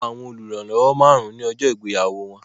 Wọn gba àwọn oluranlowo márùn-ún ní ọjọ́ ìgbéyàwó wọn